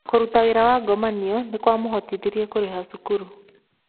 Kũruta wĩra wa ngomanio nĩ kwahotithirie kũrĩha cukuru